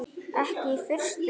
Ekki í fyrstu.